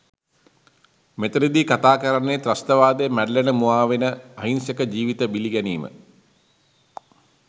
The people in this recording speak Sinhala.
මෙතනදි කතා කරන්නේ ත්‍රස්තවාදය මැඬලන මුවාවෙන අහිංසක ජීවිත බිලි ගැනීම.